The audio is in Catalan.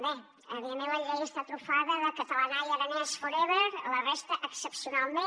bé evidentment la llei està trufada de catalana i aranès forever la resta excepcionalment